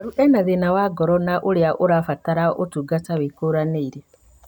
Mũrwaru ena thĩna wa ngoro na ũrĩa ũrabatara ũtungata wĩkũranĩire